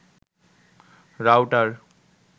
router